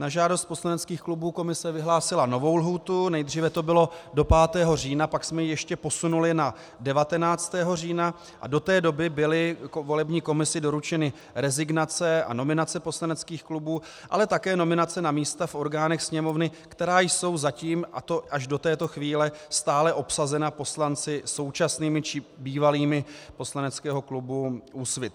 Na žádost poslaneckých klubů komise vyhlásila novou lhůtu, nejdříve to bylo do 5. října, pak jsme ji ještě posunuli na 19. října a do té doby byly volební komisi doručeny rezignace a nominace poslaneckých klubů, ale také nominace na místa v orgánech Sněmovny, která jsou zatím, a to až do této chvíle, stále obsazena poslanci současnými či bývalými poslaneckého klubu Úsvit.